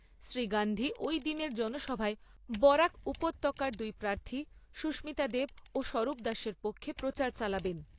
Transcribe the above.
শ্রী গান্ধী ওই দিনের জনসভায় বরাক উপত্যকার দুই প্রার্থী সুস্মিতা দেব ও স্বরূপ দাসের পক্ষে প্রচার চালাবেন।